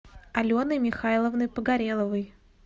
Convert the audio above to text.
аленой михайловной погореловой